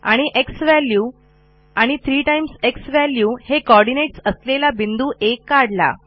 आणि z value 3 z value हे coordinates असलेला बिंदू आ काढला